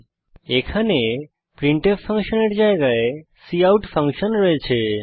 এবং এখানে আমাদের কাছে প্রিন্টফ ফাংশনের জায়গায় কাউট ফাংশন আছে